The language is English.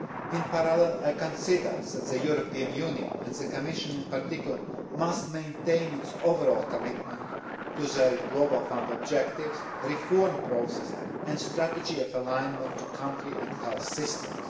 hold. In parallel, I consider that the European Union, and the Commission in particular, must maintain its overall commitment to the Global Fund objectives, reform process and strategy of alignment to country and health systems.